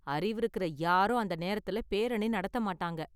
அறிவு இருக்குற யாரும் அந்த நேரத்துல பேரணி நடத்த மாட்டாங்க.